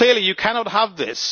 Clearly, you cannot have this.